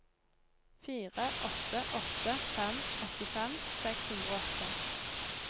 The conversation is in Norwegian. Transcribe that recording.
fire åtte åtte fem åttifem seks hundre og åtte